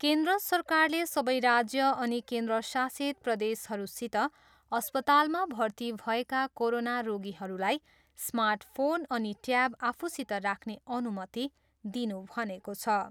केन्द्र सरकारले सबै राज्य अनि केन्द्रशासित प्रदेशहरूसित अस्पतालमा भर्ती भएका कोरोना रोगीहरूलाई स्मार्ट फोन अनि टयाब आफूसित राख्ने अनुमति दिनु भनेको छ।